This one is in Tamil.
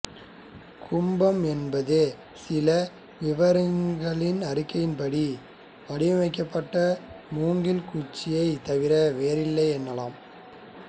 கும்பம் என்பது சில விவரக்குறிப்புகளின்படி வடிவமைக்கப்பட்ட மூங்கில் குச்சியைத் தவிர வேறில்லை எனலாம்